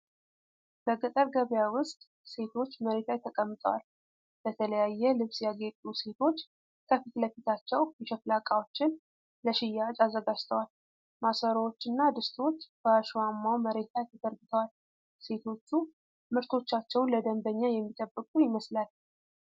በገጠር ገበያ ውስጥ ሴቶች መሬት ላይ ተቀምጠዋል። በተለያየ ልብስ ያጌጡ ሴቶች ከፊት ለፊታቸው የሸክላ ዕቃዎችን ለሽያጭ አዘጋጅተዋል። ማሰሮዎች እና ድስቶች በአሸዋማው መሬት ላይ ተዘርግተዋል። ሴቶቹ ምርቶቻቸውን ለደንበኛ የሚጠብቁ ይመስላል።